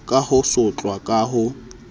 ka ho sotlwa ka ho